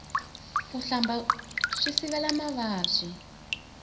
ku hlamba swi sivela mavabyi